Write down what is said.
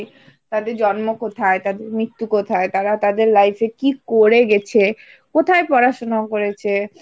তাদের জন্ম কোথায়? তাদের মৃত্যু কোথায়? তারা তাদের life এ কি করে গেছে? কোথায় পড়াশুনাও করেছে?